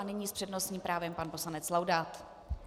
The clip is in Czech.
A nyní s přednostním právem pan poslanec Laudát.